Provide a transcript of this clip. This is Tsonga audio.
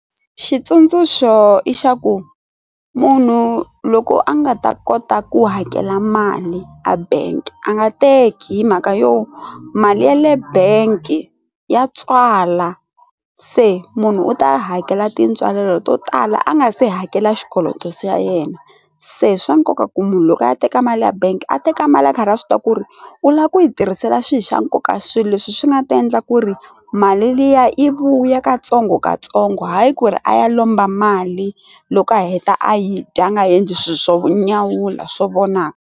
Xitsundzuxo i xa ku munhu loko a nga ta kota ku hakela mali a bank a nga teki hi mhaka yo mali yale bank ya tswala se munhu u ta hakela tintswalo to tala a nga se hakela xikoloto se ya yena se swa nkoka ku munhu loko a ya teka mali ya bank a teka mali ya nkarhi wa swi tiva ku ri u lava ku yi tirhisela swihoxo nkoka swilo leswi swi nga ta endla ku ri mali liya i vuya katsongokatsongo hayi ku ri a ya lomba mali loko a heta a yi dyanga endli swilo swo nyawula swo vonaka.